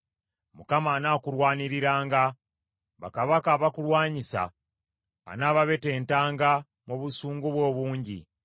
Mukama anaakulwaniriranga; bakabaka abakulwanyisa anaababetentanga mu busungu bwe obungi.